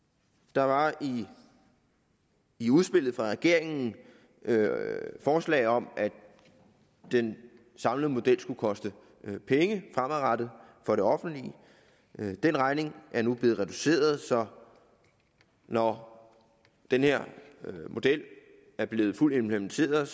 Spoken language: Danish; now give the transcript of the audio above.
der var i i udspillet fra regeringen forslag om at den samlede model skulle koste penge fremadrettet for det offentlige den regning er nu blevet reduceret så når den her model er blevet fuldt implementeret